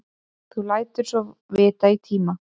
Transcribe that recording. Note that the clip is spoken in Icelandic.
Þú lætur svo vita í tíma.